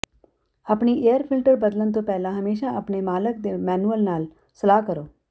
ਆਪਣੀ air filter ਬਦਲਣ ਤੋਂ ਪਹਿਲਾਂ ਹਮੇਸ਼ਾ ਆਪਣੇ ਮਾਲਕ ਦੇ ਮੈਨੂਅਲ ਨਾਲ ਸਲਾਹ ਕਰੋ